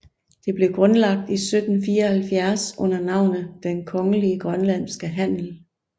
Det blev grundlagt i 1774 under navnet Den Kongelige Grønlandske Handel